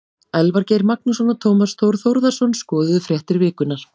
Elvar Geir Magnússon og Tómas Þór Þórðarson skoðuðu fréttir vikunnar.